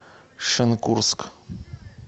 шенкурск